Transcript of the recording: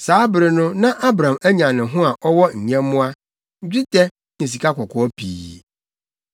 Saa bere no na Abram anya ne ho a ɔwɔ nyɛmmoa, dwetɛ ne sikakɔkɔɔ pii.